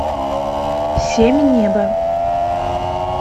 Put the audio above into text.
семь небо